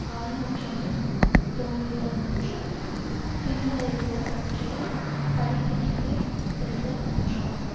கால் நூற்றாண்டு தோல்விகள் மற்று பின்னடைவுகள் பற்றிய படிப்பினைகளை பெறுதல் ஒன்றாகும்